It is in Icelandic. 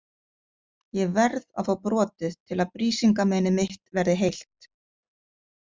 Ég verð að fá brotið til að Brísingamenið mitt verði heilt.